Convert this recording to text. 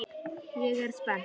Ég er spennt.